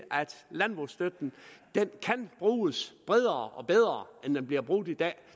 landbrugsstøtten kan bruges bredere og bedre end den bliver brugt i dag